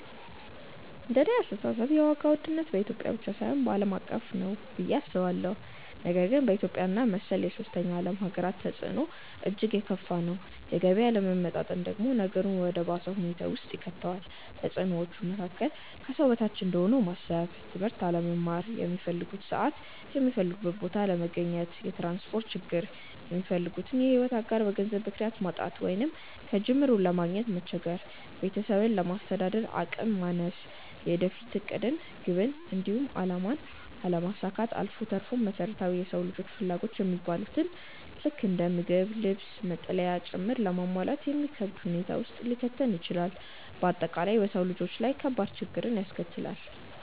እንደኔ አስተሳሰብ የዋጋ ውድነት በኢትዮጵያ ብቻ ሳይሆን ዓለም አቀፍ እውነታ ነው ብዬ አስባለሁ፤ ነገር ግን በኢትዮጵያ እና መሰል የሶስተኛ ዓለም ሃገራት ተፅዕኖው እጅግ የከፋ ነው። የገቢ አለመመጣጠን ደግሞ ነገሩን ወደ ባሰ ሁኔታ ውስጥ ይከተዋል። ከተፅዕኖዎቹ መካከል፦ ከሰው በታች እንደሆኑ ማሰብ፣ ትምህርት አለመማር፣ ሚፈልጉበት ሰዓት የሚፈልጉበት ቦታ አለመገኘት፣ የትራንስፖርት ችግር፣ የሚፈልጉትን የሕይወት አጋር በገንዘብ ምክንያት ማጣት ወይንም ከጅምሩ ለማግኘት መቸገር፣ ቤተሰብን ለማስተዳደር አቅም ማነስ፣ የወደፊት ዕቅድን፣ ግብን፣ እንዲሁም አላማን አለማሳካት አልፎ ተርፎም መሰረታዊ የሰው ልጆች ፍላጎት የሚባሉትን ልክ እንደ ምግብ፣ ልብስ፣ መጠለያ ጭምር ለማሟላት የሚከብድ ሁኔታ ውስጥ ሊከተን ይችላል። በአጠቃላይ በሰው ልጆች ላይ ከባድ ችግርን ያስከትላል።